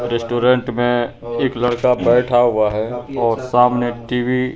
restaurant में एक लड़का बैठा हुआ है और सामने टी_वी --